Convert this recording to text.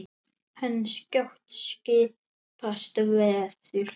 En skjótt skipast veður.